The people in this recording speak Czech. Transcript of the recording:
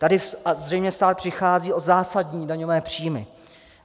Tady zřejmě stát přichází o zásadní daňové příjmy.